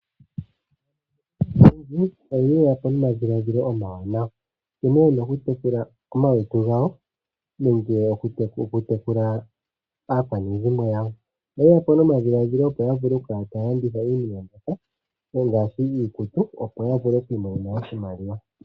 Aantu oye yapo nomadhiladhilo omawanawa, nkene yena oku tekula omalutu gawo nenge oku tekula aakwanezimo yawo. Oye yapo nomadhiladhilo opo ya vule oku kala taya landitha iinima ngaashi iikutu, opo ya vule oku imonena oshimaliwa.